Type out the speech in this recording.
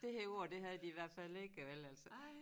Det her ord det havde de i hvert fald ikke vel altså